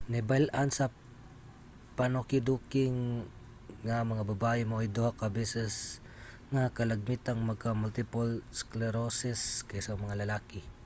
nahibal-an sa panukiduki nga ang mga babaye maoy duha ka beses nga kalagmitang magka-multiple sclerosis kaysa mga lalaki